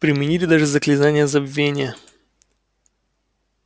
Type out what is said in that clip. применили даже заклинание забвения